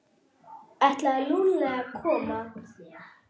Ætlaði Lúlli að koma?